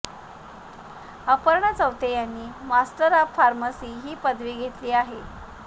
अपर्णा चौथे यांनी master of pharmacy ही पदवी घेतली आहे